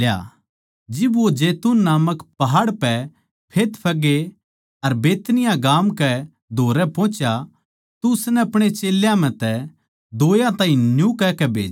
जिब वो जैतून नामक पहाड़ पै बैतफगे अर बैतनिय्याह गाम कै धोरै पोहुच्या तो उसनै अपणे चेल्यां म्ह तै दोयां ताहीं न्यू कहकै भेज्या